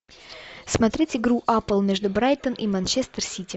смотреть игру апл между брайтон и манчестер сити